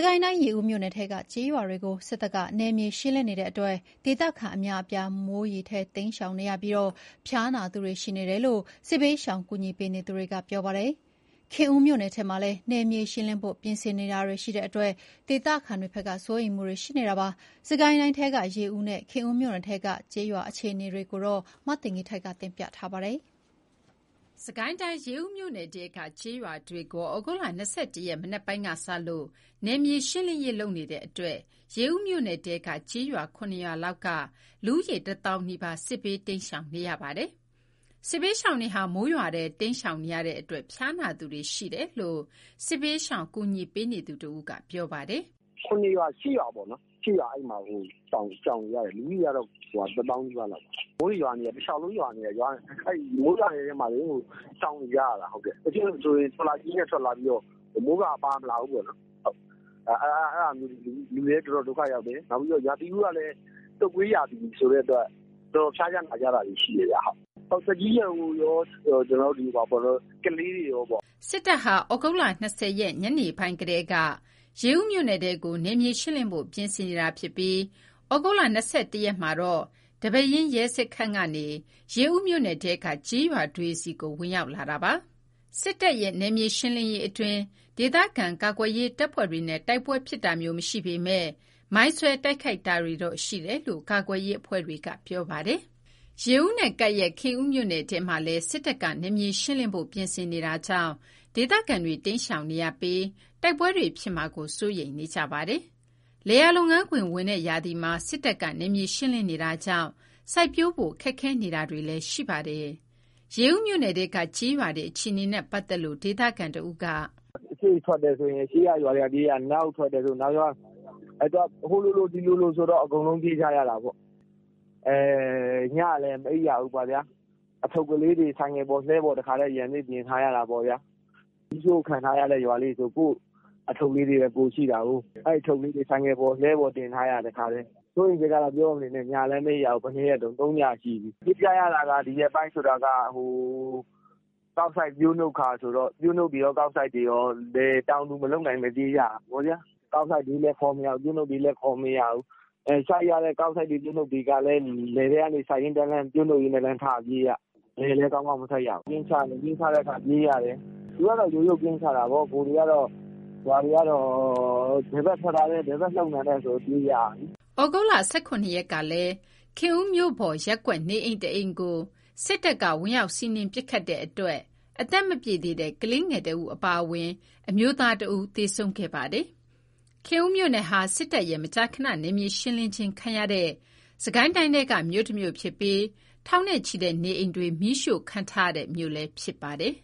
ကိုင်းတိုင်း ရေဦးမြို့နယ်ထဲကကျေးရွာတွေကို စစ်တပ်က နယ်မြေရှင်းနေတဲ့အတွက် ဒေသခံအများအပြား မိုးထဲရေထဲတိမ်းရှောင်နေရပြီး ဖျားနာသူတွေရှိတယ်လို့ စစ်ဘေးရှောင်ကူညီပေးနေသူတွေက ပြောပါတယ်။ ခင်ဦးမြို့နယ်ထဲမှာလည်း နယ်မြေရှင်းလင်းဖို့ ပြင်နေတာကြောင့် ဒေသခံတွေ စိုးရိမ်နေပါတယ်။ စစ်ကိုင်းတိုင်းထဲက ရေဦးနဲ့ ခင်ဦးမြို့နယ်ထဲက ကျေးရွာတွေအခြေအနေကို နန်းလောင်ဝ်က တင်ပြပေးထားပါတယ်။ စစ်ကိုင်းတိုင်း ရေဦးမြို့နယ်ထဲက ကျေးရွာတွေကို သြဂုတ် ၂၁ ရက် မနက်ပိုင်းကစလို့ နယ်မြေရှင်းလင်းရေးလုပ်နေတဲ့အတွက် ရေဦးမြို့နယ်ထဲက ကျေးရွာ ၇ ရွာလောက်က လူဦးရေ ၁ သောင်းနီးပါးက စစ်ဘေးတိမ်းရှောင်နေရတာပါ။ စစ်ဘေးရှောင်တွေဟာ မိုးရွာထဲတိမ်းရှောင်နေရတဲ့အတွက် ဖျားနာသူတွေရှိတယ်လို့ စစ်ဘေးရှောင်ကူညီပေးနေတဦးက ပြောပါတယ်။ “၇ ရွာ ၈ ရွာပေါ့နော်။ အဲ့မှာ ၈ ရွာလောက်ရှောင်နေရတယ်။ လူဦးရေက ၁ သောင်းနီးပါးလောက်ပေါ့။ မိုးတွေရွာနေတယ်။ မိုးတလျှောက်လုံးရွာနေတာ မိုးရွာထဲမှာ ရှောင်နေကြရတာ။တချို့ဆိုရင် ထော်လာဂျီနဲ့ ထွက်လာပြီးတော့ မိုးကာပါမလာဘူးပေါ့နော်။ အဲ့ဒါမျိုးတွေ လူတွေလည်း တော်တော် ဒုက္ခရောက်တယ်။ နောက်ပြီး ရာသီဥတုက တုပ်ကွေးရာသီဆိုတော့ တော်တော်ဖျားကြ နာကြတာတွေရှိတယ်။ သက်ကြီးရွယ်အိုတွေကော ကလေးငယ်တွေကော။” စစ်တပ်ဟာ သြဂုတ် ၂၀ ရက် ညနေပိုင်းကတည်းက ရေဦးနယ်ထဲကို နယ်မြေရှင်းလင်းဖို့ ပြင်ဆင်နေတာဖြစ်ပြီး သြဂုတ် ၂၁ ရက်မှာတော့ ဒီပဲယင်းရဲစခန်းကနေ ရေဦးမြို့နယ်ထဲက ကျေးရွာတွေဆီကို ဝင်ရောက်လာတာပါ။ စစ်တပ်က နယ်မြေရှင်းလင်းရေးအတွင်း ဒေသခံကာကွယ်ရေး တပ်ဖွဲ့တွေနဲ့ တိုက်ပွဲဖြစ်တာမျိုး မရှိပေမယ့် မိုင်းဆွဲတိုက်ခိုက်တာတွေတော့ ရှိတယ်လို့ ကာကွယ်ရေး အဖွဲ့တွေက ပြောပါတယ်။ ရေဦးနဲ့ ကပ်လျက် ခင်ဦးမြို့နယ်ထဲမှာလည်း စစ်တပ်က နယ်မြေရှင်းလင်းဖို့ ပြင်ဆင်နေတာကြောင့် ဒေသခံတွေ တိမ်းရှောင်နေရပြီး တိုက်ပွဲတွေဖြစ်မှာကို စိုးရိမ်နေပါတယ်။ လယ်ယာလုပ်ငန်းခွင် ဝင်တဲ့ရာသီမှာ စစ်တပ်က နယ်မြေရှင်းလင်းနေတာကြောင့် စိုက်ပျိုးဖို့ ခက်ခဲနေတာတွေလည်းရှိနေပါတယ်။ ရေဦးမြို့နယ်ထဲက ကျေးရွာတွေအခြေအနေနဲ့ ပတ်သက်လို့ ဒေသခံတဥိးက “(စစ်တပ်က) အရှေ့ထွက်တယ်ဆို အရှေ့ကရွာတွေပြေးရ အနောက်ထွက်တယ်ဆို အနောက်ကရွာတွေပြေးရ။ ဟိုလိုလိုဒီလိုလိုဆိုတော့ အကုန်လုံးပြေးကြရတာပေါ့။ ညလည်းမအိပ်ရဘူးပေါ့ဗျာ။ အထုပ်ကလေးတွေ ဆိုင်ကယ်ပေါ် လှည်းပေါ် တခါတည်း တင်ထားရတာပေါ့။ မီးရှို့ခံထားရတဲ့ရွာလေးတွေဆိုရင် အထုပ်လေးတွေပဲရှိတာကို၊ အဲ့အထုပ်လေးတွေ ဆိုင်ကယ်ပေါ် လှည်းပေါ် တခါတည်းတင်ထားရတယ်။ စိုးရိမ်စိတ်ကတော့ ပြောမနေနဲ့ ညလည်းမအိပ်ကြရဘူး။ ၃ ညရှိပြီ။ ပြေးကြရတာက ဒီရက်ပိုင်းက ကောက်စိုက် ပျိုးနှုတ်ခါဆိုတော့ ပျိုးနှုတ်တွေကော ကောက်စိုက်တွေကော တောင်သူမလုပ်နိုင်ဘဲ ပြေးကြရတာ။ ကောက်စိုက်တွေလည်းခေါ်မရဘူး။ ပျိုးနှုတ်လည်းခေါ်မရဘူး။ စိုက်ရတဲ့ကောက်စိုက်တွေပျိုးနှုတ်တွေကလည်း လယ်ထဲစိုက်ရင်းတန်းလန်းပြေးကြရတယ်။ သူတို့က ကင်းချတယ်။သူတို့က ရိုးရိုး ကင်းချတော့ ရွာတွေကတော့ ဘယ်ဘက်ထွက်တာလဲ ဘယ်ဘက်လှုပ်တာလည်းဆိုပြီး ပြေးကြရပြီ။” သြဂုတ်လ ၁၇ ရက်ကလည်း ခင်ဦးမြို့ပေါ် ရပ်ကွက်နေအိမ် တအိမ်ကို စစ်တပ်က ဝင်ရောက်စီးနင်း ပစ်ခတ်တဲ့အတွက် အသက်မပြည့်သေးတဲ့ ကလေးငယ် ၁ ဦးအပါအဝင် အမျိုးသား ၁ ဦးလည်း သေဆုံးခဲ့ပါသေးတယ်။ ခင်ဦးမြို့နယ်ဟာ စစ်တပ်ရဲ့ မကြာခဏ နယ်မြေရှင်းလင်းခြင်းခံရတဲ့ စစ်ကိုင်းတိုင်းထဲက မြို့တမြို့ဖြစ်ပြီး ထောင်နဲ့ချီတဲ့နေအိမ်တွေ မီးရှို့ခံထားရတဲ့ မြို့လည်းဖြစ်ပါတယ်